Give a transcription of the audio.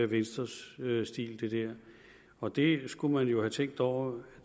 venstres stil og det skulle man jo have tænkt over